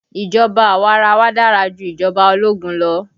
Ìjọba awarawa dára ju ìjọba ológun lọ